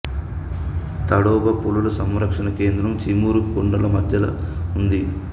తడోబా పులుల సంరక్షణ కేంద్రం చీముర్ కొండల మధ్యలో ఉంది